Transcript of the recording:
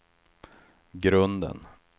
grunden